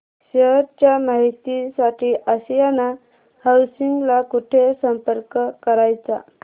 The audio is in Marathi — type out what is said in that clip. शेअर च्या माहिती साठी आशियाना हाऊसिंग ला कुठे संपर्क करायचा